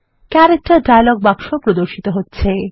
character dialog বাক্স প্রদর্শিত হচ্ছে